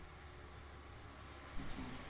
अ दहा ते बारा लाख नागरिक सामील होते.व